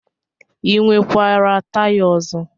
I nwekwara taya ọzọ?